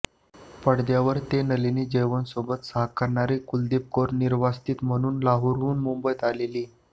पडद्यावर ते नलिनी जयवंतसोबत साकारणारी कुलदीप कौर निर्वासित म्हणून लाहोरहून मुंबईत आलेली